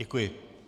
Děkuji.